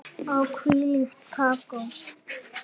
Og hvílíkt kakó.